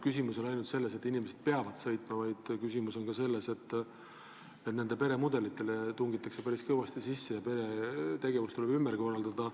Küsimus ei ole ainult selles, et inimesed peavad kaugele tööle sõitma, küsimus on ka selles, et nende perede elumudelitesse tungitakse päris kõvasti sisse, perede tegevus tuleb ümber korraldada.